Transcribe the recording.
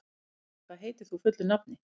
Olli, hvað heitir þú fullu nafni?